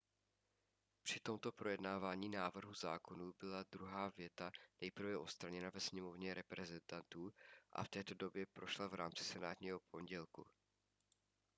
při tomto projednávání návrhu zákonů byla druhá věta nejprve odstraněna ve sněmovně reprezentantů a v této podobě prošla v rámci senátního pondělku